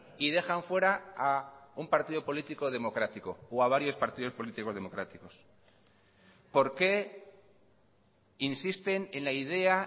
y dejan fuera a un partido político democrático o a varios partidos políticos democráticos por qué insisten en la idea